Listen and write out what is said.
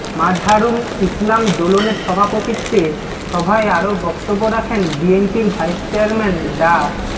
মাজহারুল ইসলাম দোলনের সভাপতিত্বে সভায় আরো বক্তব্য রাখেন বিএনপির ভাইস চেয়ারম্যান ডা